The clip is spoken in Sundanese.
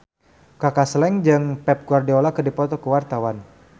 Kaka Slank jeung Pep Guardiola keur dipoto ku wartawan